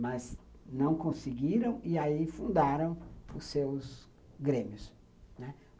Mas não conseguiram e aí fundaram os seus grêmios.